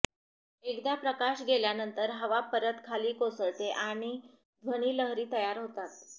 एकदा प्रकाश गेल्यानंतर हवा परत खाली कोसळते आणि ध्वनीलहरी तयार होते